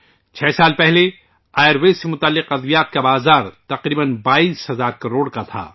6 سال پہلے آیوروید سے متعلق ادویات کا بازار تقریباً 22 ہزار کروڑ کا تھا